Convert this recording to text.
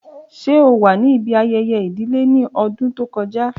ṣe o wa ni ibi ayẹyẹ idile ni ọdun to kọja?